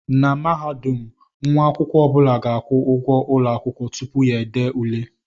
Na Mahadum nwa akwụkwọ ọ bụla ga-akwụ ụgwọ ụlọ akwụkwọ tupu ya ede ule